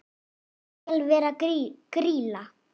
Ég skal vera Grýla.